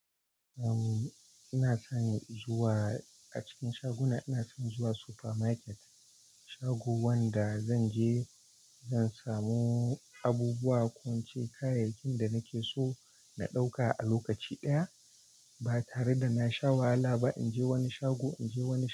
Umm, ina son zuwa, a cikin shaguna, ina son zuwa supermarket, shago wanda zanje zan samu abubuwa ko ince kayayyakin da nake so na ɗauka a lokaci ɗaya ba tare da na sha wahala ba in je wani shago inje wani shago.